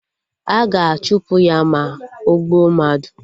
A ga-achụpụ ya, ma ogbuo mmadụ